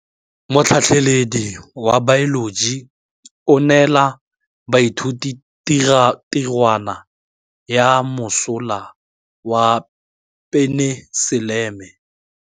Motlhatlhaledi wa baeloji o neela baithuti tirwana ya mosola wa peniselene.